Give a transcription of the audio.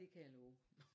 Det kan jeg love